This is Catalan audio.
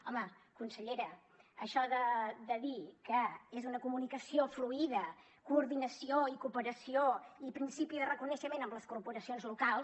home consellera això de dir que és una comunicació fluïda coordinació i cooperació i principi de reconeixement amb les corporacions locals